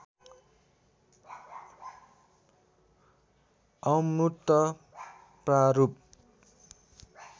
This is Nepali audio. अमूर्त प्रारूप